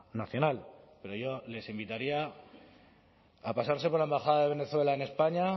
nacional pero yo les invitaría a pasarse por la embajada de venezuela en españa